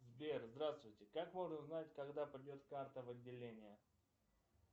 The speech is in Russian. сбер здравствуйте как можно узнать когда придет карта в отделение